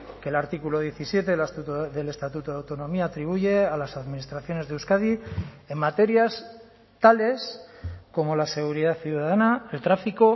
que el artículo diecisiete del estatuto de autonomía atribuye a las administraciones de euskadi en materias tales como la seguridad ciudadana el tráfico